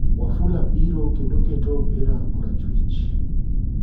Wafula biro kendo keto opira korachwich,